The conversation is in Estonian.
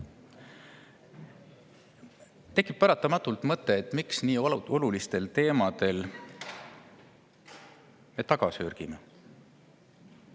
Tekib paratamatult mõte, et miks me nii oluliste teemade puhul sörgime.